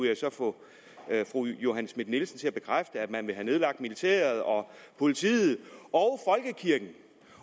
jeg så få fru johanne schmidt nielsen til at bekræfte at man vil have nedlagt militæret og politiet